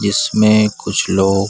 जिसमें कुछ लोग --